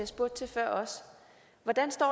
spurgte til før hvordan står